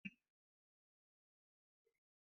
Likitana ya rubuta omefrazole don gyambon ciki.